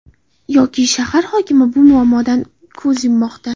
Yoki shahar hokimi bu muammodan ko‘z yummoqda.